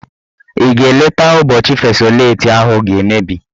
Ị ga eleta ụbọchị fesoleti ahụ ga-emebi?